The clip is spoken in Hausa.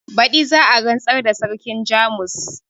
badi za a rantsar da sarkin jamus